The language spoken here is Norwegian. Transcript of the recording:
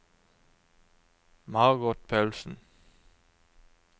Margot Paulsen